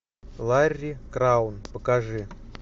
ларри краун покажи